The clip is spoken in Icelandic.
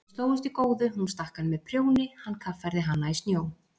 Þau slógust í góðu, hún stakk hann með prjóni, hann kaffærði hana í snjó.